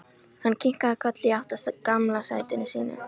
Hann kinkaði kolli í átt að gamla sætinu sínu.